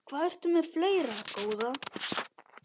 Hvað ertu með fleira, góða?